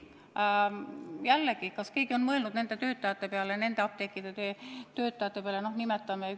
Samas kas keegi on mõelnud nende apteekide töötajate peale?